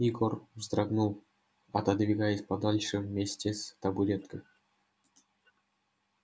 егор вздрогнул отодвигаясь подальше вместе с табуреткой